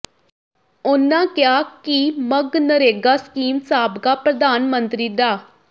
ਉਨ੍ਹਾਂ ਕਿਹਾ ਕਿ ਮਗਨਰੇਗਾ ਸਕੀਮ ਸਾਬਕਾ ਪ੍ਰਧਾਨ ਮੰਤਰੀ ਡਾ